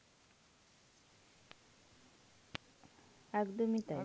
একদমই তাই.